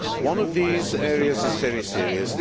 One of these areas is very serious.